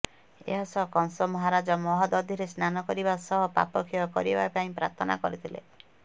ଏହା ସହ କଂସ ମହାରାଜ ମହୋଦଧୀରେ ସ୍ନାନ କରିବା ସହ ପାପକ୍ଷୟ କରିବା ପାଇଁ ପ୍ରାର୍ଥନା କରିଥିଲେ